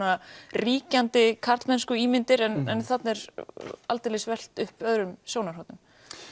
ríkjandi en þarna er aldeilis velt upp öðrum sjónarhornum